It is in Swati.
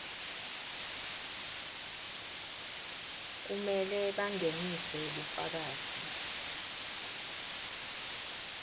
kumele bangenise bufakazi